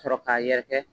Sɔrɔ k'a yɛrɛkɛ